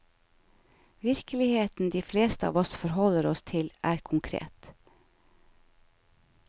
Virkeligheten de fleste av oss forholder oss til, er konkret.